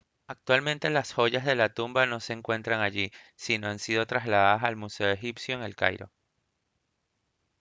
actualmente las joyas de la tumba no se encuentran allí sino que han sido trasladadas al museo egipcio en el cairo